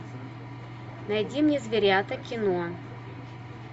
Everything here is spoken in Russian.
найди мне зверята кино